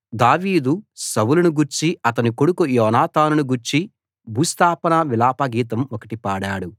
దావీదు సౌలును గూర్చి అతని కొడుకు యోనాతానును గూర్చి భూస్థాపన విలాప గీతం ఒకటి పాడాడు